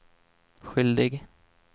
skyldig